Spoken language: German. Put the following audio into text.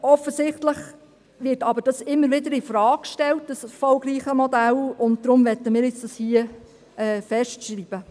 Offensichtlich wird dieses erfolgreiche Modell aber immer wieder infrage gestellt, und deshalb möchten wir es hier festschreiben.